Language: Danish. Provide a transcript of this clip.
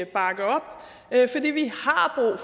bakke op